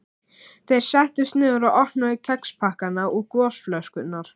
Þeir settust niður og opnuðu kexpakkana og gosflöskurnar.